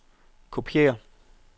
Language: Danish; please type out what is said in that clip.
kopiér